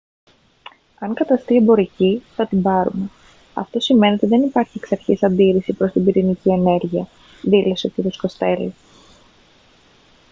«αν καταστεί εμπορική θα την πάρουμε. αυτό σημαίνει ότι δεν υπάρχει εξαρχής αντίρρηση προς την πυρηνική ενέργεια» δήλωσε ο κ. κοστέλο